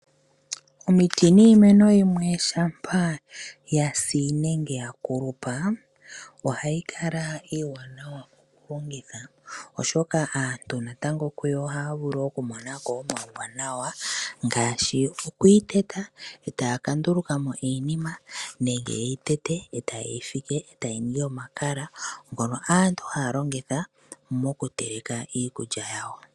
Omiti niimeno yimwe shampa yasi nenge yakulupa, oha i kala iiwanawa okulongitha, oshoka aantu natango kuyo oha ya vulu okumona ko omauwanawa, ngaashi oku yi teta ee ta ya ka nduluka mo iinima, nenge ye yi tete, e ta ye yifike, ee ta yi ningi omakala, ngono aantu ha ya longitha mokuteleka iikulya yawo.